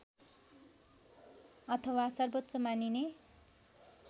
अथवा सर्वोच्च मानिने